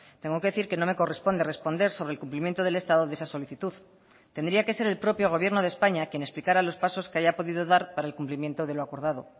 tengo que decir que no me corresponde responder sobre el cumplimiento del estado de esa solicitud tendría que ser el propio gobierno de españa quien explicara los pasos que haya podido dar para el cumplimiento de lo acordado